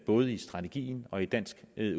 både i strategien og i dansk